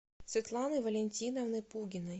светланы валентиновны пугиной